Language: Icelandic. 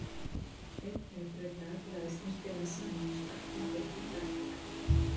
Einn þeirra braut dagblaðið snyrtilega saman og stakk undir handarkrikann.